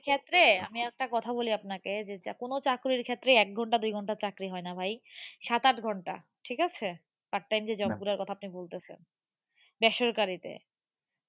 ক্ষেত্রে আমি একটা কথা বলি আপনাকে, যে কোনো চাকরির ক্ষেত্রেই এক ঘন্টা দুই ঘন্টার চাকরি হয়না ভাই, সাত আট ঘন্টা ঠিক আছে part time যে job গুলার কথা আপনি বলতেছেন বেসরকারিতে